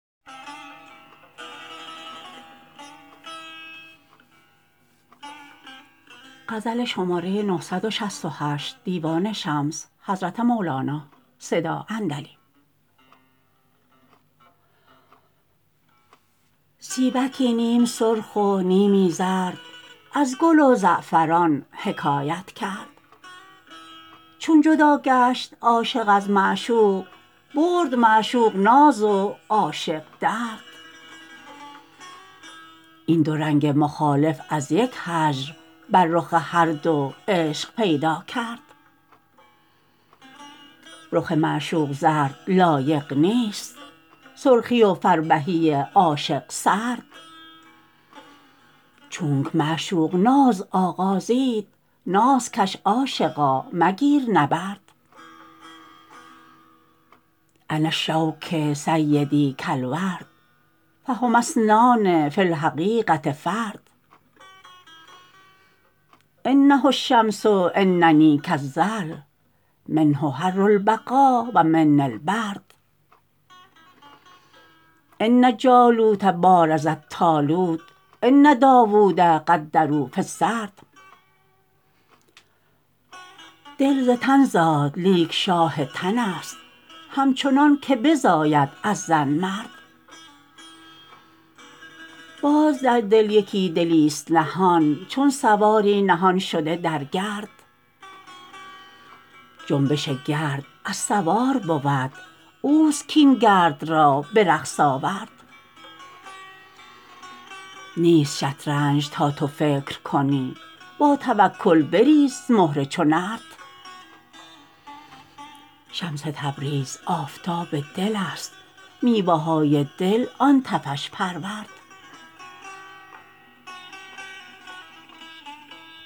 سیبکی نیم سرخ و نیمی زرد از گل و زعفران حکایت کرد چون جدا گشت عاشق از معشوق برد معشوق ناز و عاشق درد این دو رنگ مخالف از یک هجر بر رخ هر دو عشق پیدا کرد رخ معشوق زرد لایق نیست سرخی و فربهی عاشق سرد چونک معشوق ناز آغازید ناز کش عاشقا مگیر نبرد انا کالشوک سیدی کالورد فهما اثنان فی الحقیقه فرد انه الشمس اننی کالظل منه حر البقا و منی البرد ان جالوت بارز الطالوت ان داوود قدروا فی السرد دل ز تن زاد لیک شاه تنست همچنانک بزاید از زن مرد باز در دل یکی دلیست نهان چون سواری نهان شده در گرد جنبش گرد از سوار بود اوست کاین گرد را به رقص آورد نیست شطرنج تا تو فکر کنی با توکل بریز مهره چو نرد شمس تبریز آفتاب دلست میوه های دل آن تفش پرورد